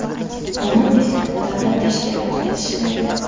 Onam esa davlat tashkilotida ishlaydi.